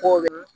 Ko